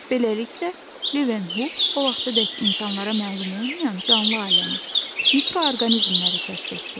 Beləliklə, Levenhuk o vaxtadək insanlara məlum olmayan canlı aləmi, mikroorqanizmləri kəşf etdi.